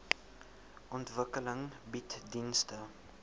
ontwikkeling bied dienste